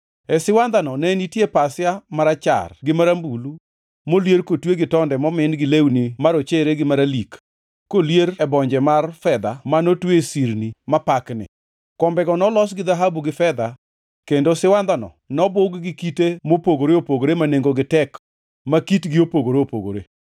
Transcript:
E siwandhano ne nitie pasia marachar gi marambulu molier kotwe gi tonde momin gi lewni marochere gi maralik kolier e bonje mar fedha manotwe e sirni mapakni. Kombego nolos gi dhahabu gi fedha kendo siwandhano nobug gi kite mopogore opogore ma nengogi tek ma kitgi opogore opogore.